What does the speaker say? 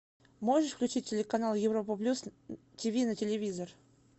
можешь включить телеканал европа плюс тиви на телевизор